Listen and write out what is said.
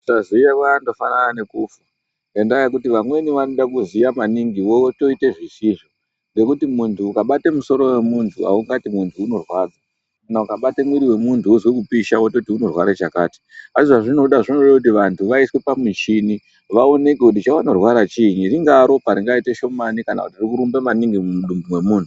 Kusaziya kwakangofanana nekufa ngenda yekuti vamweni vanoda kuziya maningi iwewe wotoita zvisizvo ngekuti muntu ukabata musoro wemuntu haungati muntu unorwadza kana ukabataumwiri wemuntu wonzwa kupisa wototi unorwara chakati asi zvazvinoda kuti vantu vaiswe pamuchini vaonekwe kuti chavanorwara chinyi ringava ropa ringaita shomani kana riri kurumba maningi mumwiri wemuntu.